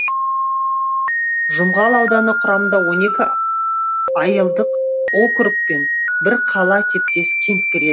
жұмғал ауданы құрамында он екі айылдық округ пен бір қала типтес кент кіреді